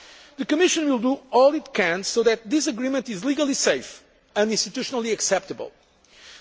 text now. The Commission will do all it can so that this agreement is legally safe and institutionally acceptable.